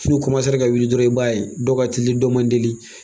Foro ra ka wuli dɔrɔn i b'a ye dɔw ka telin dɔw man telin